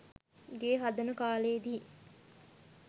ගේ හදන කාලෙදි